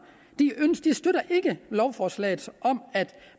støtter ikke lovforslaget om at